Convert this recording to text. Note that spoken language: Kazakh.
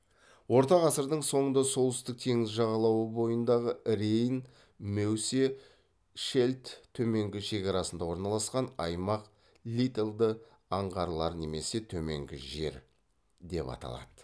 орта ғасырдың соңында солтүстік теңіз жағалауы бойындағы рейн меусе шельдт төменгі шекарасында орналасқан аймақ литальды аңғарлар немесе төменгі жер деп аталды